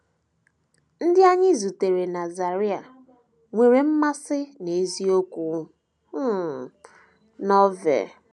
Ndị anyị zutere na Zaire nwere mmasị n’eziokwu um Novel